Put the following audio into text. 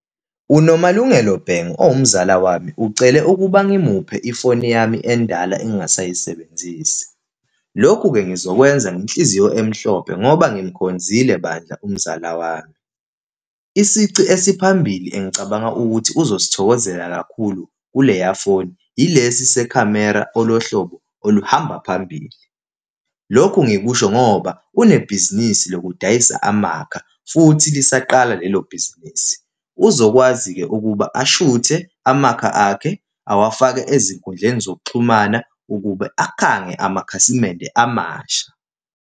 UNomalungelo Bhengu owumzala wami, ucele ukuba ngimuphe ifoni yami endala engingasayisebenzisi. Lokhu-ke, ngizokwenza ngenhliziyo emhlophe ngoba simkhonzile bandla umzala wami. Isici esiphambili engicabanga ukuthi uzosithokozela kakhulu kuleya foni ilesi sekhamera olohlobo oluhamba phambili. Lokhu ngikusho ngoba unebhizinisi lokudayisa amakha, futhi lisaqala lelo bhizinisi. Uzokwazi-ke ukuba ashuthe amakha akhe, awafake ezinkundleni zokuxhumana, ukube akhange amakhasimende amasha.